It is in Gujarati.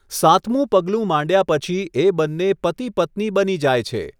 સાતમું પગલું માંડ્યા પછી એ બંને પતિ પત્ની બની જાય છે.